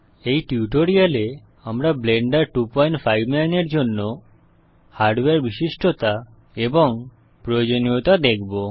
এই টিউটোরিয়ালে আমরা ব্লেন্ডার 259 এর জন্য হার্ডওয়্যার বিশিষ্টতা এবং প্রয়োজনীয়তা দেখব